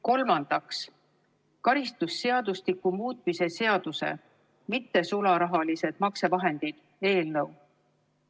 Kolmandaks, karistusseadustiku muutmise seaduse eelnõu.